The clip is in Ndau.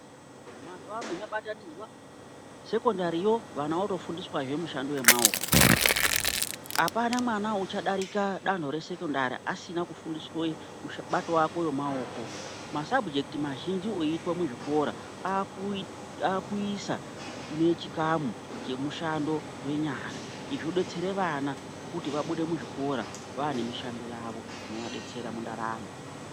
Mazuva ano zva batanidzwa sekondari yoo vana vakuto fundiswa zvee mushando ye maoko apana mwana ucha darika dando re sekondari asina kufundiswe kubatwa kwe maoko ma sabhujekiti mazhinji oyitwa mu zvikora akuisa ne chikamu che mushando we nyara izvi zvo detsere vana kuti vabude mu zvikora vane mushando yavo inova detsera mu ndaramo.